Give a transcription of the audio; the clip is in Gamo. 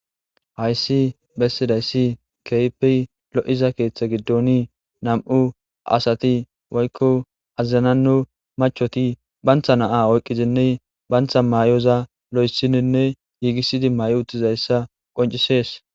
hayssi bessidayssi keype lo7iza keeththa giddoni nam7u asati woykko azazanannu machoti bantha naa oyqqizinne bantha maayoza lo7essininne giigissidi may7o uttizayssa qoncisees